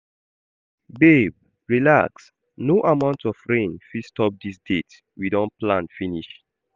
Babe relax, no amount of rain fit stop dis date we don plan finish